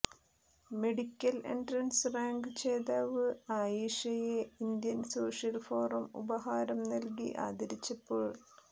medical entrance rank ജേതാവ് ആയിഷയെ Indian social forum ഉപഹാരം നൽകി ആദരിച്ചപ്പോൾ